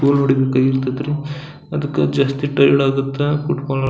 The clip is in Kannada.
ಅಗಿತೈತ್ರಿ ಅದಕ್ಕ ಜಸ್ಟ್ ಟೈರ್ಡ್ ಆಗತ್ತಾ ಫುಟ್ಬಾಲ್ --